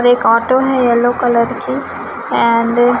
एक ऑटो है yellow colour की एंड --